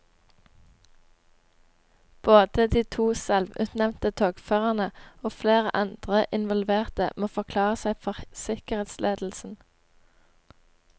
Både de to selvutnevnte togførerne og flere andre involverte må forklare seg for sikkerhetsledelsen.